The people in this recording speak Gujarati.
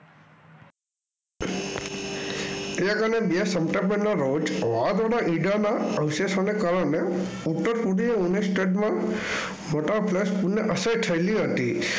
તેર અને બે સપ્ટેમ્બરના રોજ અવશેષોને કારણે ઉત્તર પૂર્વીય State અસર થયેલી હતી.